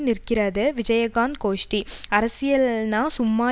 நிற்கிறது விஜயகாந்த் கோஷ்டி அரசியல்ல்னா சும்மா